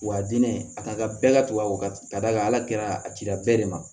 Wa a diinɛ a ka bɛɛ ka tugu a wagati ka d'a kan ala kɛra a cira bɛɛ de ma